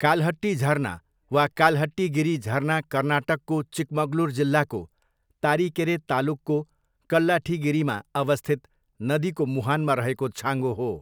काल्हट्टी झरना वा काल्हट्टीगिरी झरना कर्नाटकको चिकमगलुर जिल्लाको तारिकेरे तालुकको कल्लाठीगिरीमा अवस्थित नदीको मुहानमा रहेको छाँगो हो।